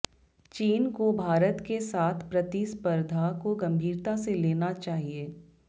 चीन को भारत के साथ प्रतिस्पर्धा को गंभीरता से लेना चाहिए